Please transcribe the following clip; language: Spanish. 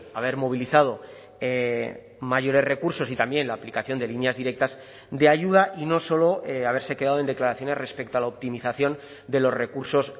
haber movilizado mayores recursos y también la aplicación de líneas directas de ayuda y no solo haberse quedado en declaraciones respecto a la optimización de los recursos